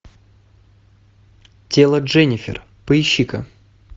тело дженнифер поищи ка